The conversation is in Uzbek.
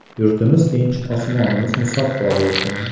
Yurtimiz tinch, osmonimiz musaffo bo‘lsin.